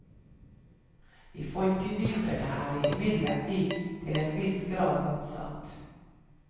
I folkedypene er det imidlertid til en viss grad motsatt.